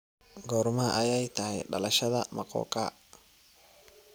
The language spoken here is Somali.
Goorma ayay tahay dhalashada mokokha?